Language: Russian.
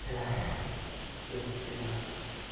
эх всё-таки